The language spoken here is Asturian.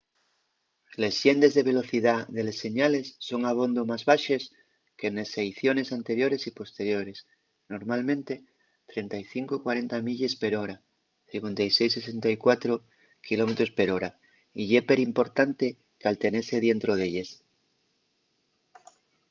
les llendes de velocidá de les señales son abondo más baxes que nes seiciones anteriores y posteriores —normalmente 35-40 milles per hora 56-64 km/h —y ye perimportante caltenese dientro d’elles